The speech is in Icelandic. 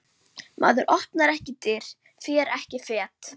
Maður opnar ekki dyr, fer ekki fet.